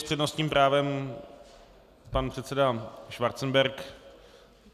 S přednostním právem pan předseda Schwarzenberg.